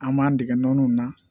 An b'an dege nɔnnunw na